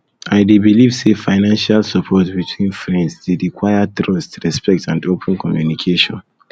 i dey believe say say financial support between friends dey require trust respect and open communication